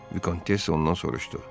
Vikontessa ondan soruşdu: